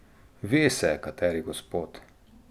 Ve se, kateri gospod.